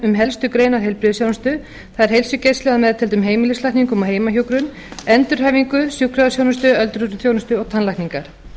um helstu greinar heilbrigðisþjónustu það er heilsugæsla að meðtöldum heimilislækningum og heimahjúkrun endurhæfingu sjúkrahúsþjónustu öldrunarþjónustu og tannlækningar